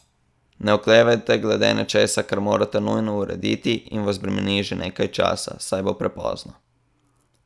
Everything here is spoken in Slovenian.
Ne oklevajte glede nečesa, kar morate nujno urediti in vas bremeni že nekaj časa, saj bo prepozno.